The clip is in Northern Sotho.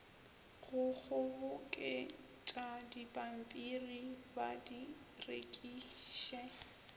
go kgoboketšadipampiri ba di rekiše